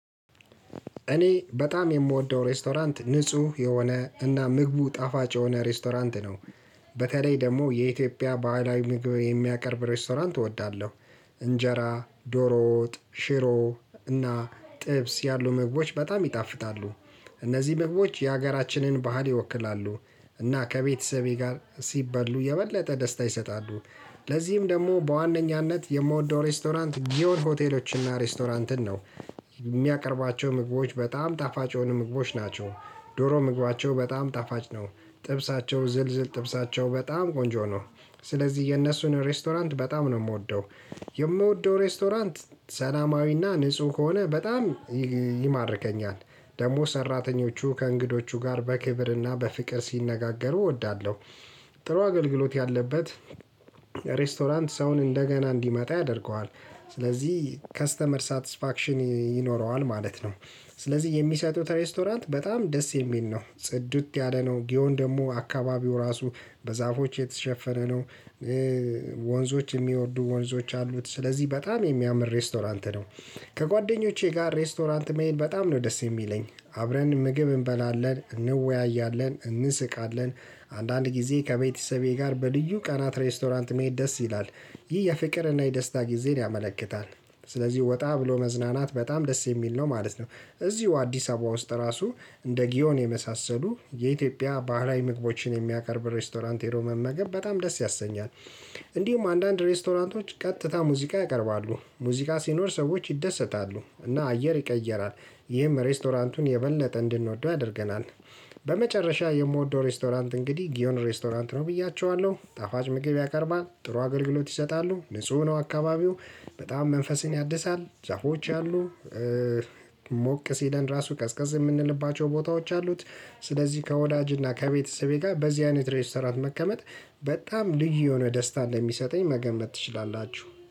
እኔ በጣም የምወደው ሬስቶራንት ንጹህ የሆነ እና ምግቡ ጣፋጭ የሆነ ሬስቶራንት ነው። በተለይ ደግሞ የኢትዮጵያ ባህላዊ ምግብ የሚያቀርብ ሬስቶራንት እወዳለሁ። እንጀራ ዶሮ ወጥ ሽሮ እና ጥብስ ያሉ መግባቶች በጣም ይጣፍጣሉ። እነዚህ መግቦች የሀገራችንን ባህል ይወክላሉ እና ከቤተሰቤ ጋር ሲበሉ የበለጠ ደስታ ይሰጣሉ። ለዚህም ደግሞ በዋነኛነት የምወደው ሬስቶራንት ጊዮል ሆቴሎችን እና ሬስቶራንትን ነው። የሚያቀርባቸው ምግቦች በጣም ጣፋጭ የሆኑ ምግቦች ናቸው። ዶሮ ምግባቸው በጣም ጣፋጭ ነው። ጥብሳቸው ዝልዝል ጥብሳቸው በጣም ቆንጆ ነው። ስለዚህ የእነሱን ሬስቶራንት በጣም ነው የምወደው። የምወደው ሬስቶራንት ሰላማዊና ንጹህ ከሆነ በጣም ይማርከኛል። ደግሞ ሰራተኞቹ ከእንግዶቹ ጋር በክብርና በፍቅር ሲነጋገሩ እወዳለሁ። ጥሩ አገልግሎት ያለበት ሬስቶራንት ሰውን እንደገና እንዲመጣ ያደርገዋል። ስለዚህ ከስተመር ሳትስፋክሽን ይኖረዋል ማለት ነው። ስለዚህ የሚሰጡት ሬስቶራንት በጣም ደስ የሚል ነው ጽዱት ያለ ነው ጊዮን ደግሞ አካባቢው ራሱ በዛፎች የተሸፈነ ነው። ወንዞች የሚወዱ ወንዞች አሉት ስለዚህ በጣም የሚያምር ሬስቶራንት ነው። ከጓደኞቼ ጋር ሬስቶራንት መሄድ በጣም ነው ደስ የሚለኝ። አብረን ምግብ እንበላለን እንወያያለን እንስቃለን። አንዳንድ ጊዜ ከቤተሰቤ ጋር በልዩ ቀናት ሬስቶራንት መሄድ ደስ ይላል። ይህ የፍቅርና የደስታ ጊዜን ያመለክታል። ስለዚህ ወጣ ብሎ መዝናናት በጣም ደስ የሚል ነው ማለት ነው። እዚሁ አዲስ አበባ ውስጥ ራሱ እንደ ጊዮን የመሳሰሉ የኢትዮጵያ ባህላዊ ምግቦችን የሚያቀርብ ሬስቶራንት ሄዶ መ መገብ በጣም ደስ ያሰኛል። እንዲሁም አንዳንድ ሬስቶራንቶች ቀጥታ ሙዚቃ ያቀርባሉ ሙዚቃ ሲኖር ሰዎች ይደሰታሉ እና አየር ይቀየራል። ይህም ሬስቶራንቱን የበለጠ እንድንወደው ያደርገናል። በመጨረሻ የምወደው ሬስቶራንት እንግዲህ ጊዮን ሬስቶራንት ነው ብያችኋለሁ ጣፋጭ ምግብ ያቀርባል ጥሩ አገልግሎት ይሰጣሉ ንጹህ ነው አካባቢው በጣም መንፈስን ያድሳል ዛፎች አሉ። ሞቅ ሲለን ራሱ ቀዝቀዝ የምንልባቸው ቦታዎች አሉት። ስለዚህ ከወዳጅና ከቤተሰቤ ጋር በዚህ አይነት ሬስቶራንት መከመት በጣም ልጅ የሆነ ደስታ እንደሚሰጠኝ መገመት ትችላላችሁ